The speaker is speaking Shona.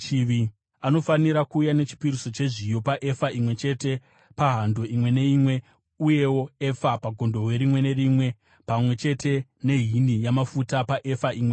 Anofanira kuuya nechipiriso chezviyo paefa imwe chete pahando imwe neimwe, uyewo efa pagondobwe rimwe nerimwe, pamwe chete nehini yamafuta paefa imwe neimwe.